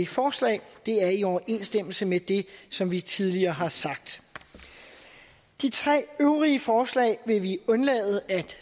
forslag det er i overensstemmelse med det som vi tidligere har sagt de tre øvrige forslag vil vi undlade at